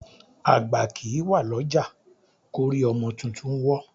Àgbá kì í wà lọ́jà kórí ọmọ tuntun wọ́n.